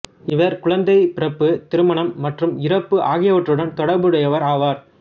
இவர் குழந்தைப் பிறப்பு திருமணம் மற்றும் இறப்பு ஆகியவற்றுடன் தொடர்புடையவர் ஆவார்